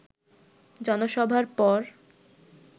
জনসভার পর